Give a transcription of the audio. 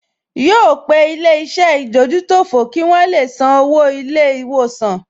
Yóò pe ilé-iṣẹ́ ìdójútòfò kí wọn le san owó ilé-ìwòsàn